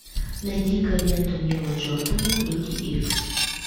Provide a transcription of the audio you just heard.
найди ка ленту нила джордана люди икс